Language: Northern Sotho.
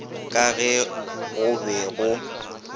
ka ge go be go